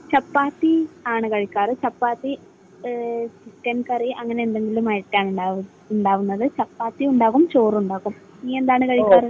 ചപ്പാത്തി ആണ് കഴിക്കാറ്. Chapati, chicken curry അങ്ങനെ എന്തെങ്കിലും ആയിട്ടാണ് ഉണ്ടാവുന്നത്. ചപ്പാത്തിയും ഉണ്ടാകും, ചോറും ഉണ്ടാകും. നീ എന്താണ് കഴിക്കുക?